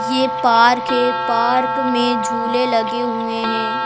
यह पार्क है पार्क में झूले लगे हुए हैं।